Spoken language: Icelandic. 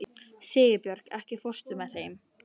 Sigurbjörg, ekki fórstu með þeim?